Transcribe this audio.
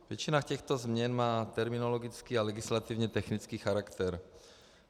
Většina těchto změn má terminologický a legislativně technický charakter.